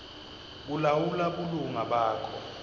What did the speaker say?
kulawula bulunga bakho